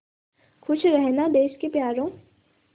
खुश रहना देश के प्यारों